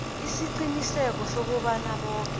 isiqiniseko sokobana boke